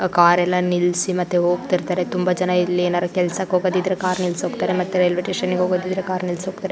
Car ಎಲ್ಲ ನಿಲ್ಲಿಸಿ ಮತ್ತೆ ಹೋಗ್ತಿರ್ತಾರೆ ತುಂಬಾ ಜನ ಇಲ್ಲಿ ಏನಾದ್ರು ಕೆಲಸಕ್ಕೆ ಹೋಗ್ಬೇಕಾದ್ರೆ ಕಾರು ನಿಲ್ಲಿಸಿ ಹೋಗ್ತಾರೆ ಮತ್ತೆ ರೈಲ್ವೆ ಸ್ಟೇಷನ್ ಗೆ ಹೋಗೋದಿದ್ರೆ ಕಾರ್ ನಿಲ್ಲಿಸಿ ಹೋಗ್ತಾರೆ.